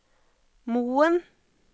Moen